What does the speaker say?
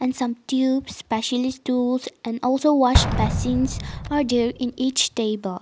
and some tubes partially tools and also wash basins for there in each table.